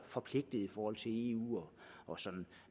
forpligtet i forhold til eu og sådan